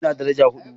Ina daraja hudu